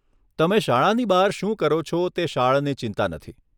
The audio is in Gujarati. તમે શાળાની બહાર શું કરો છો તે શાળાની ચિંતા નથી.